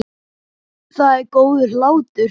Það er góður hlátur.